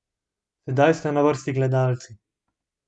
Sedaj ste na vrsti gledalci.